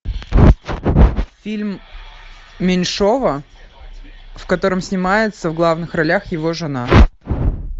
фильм меньшова в котором снимается в главных ролях его жена